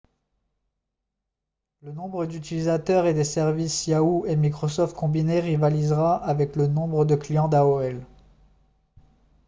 le nombre d'utilisateurs des services yahoo et microsoft combinés rivalisera avec le nombre de clients d'aol